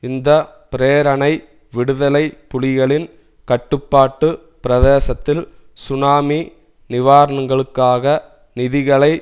இந்த பிரேரணை விடுதலை புலிகளின் கட்டுப்பாட்டு பிரதேசத்தில் சுனாமி நிவராணங்களுக்காக நிதிகளை